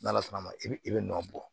N'ala sɔnn'a ma i b'i nɔ bɔ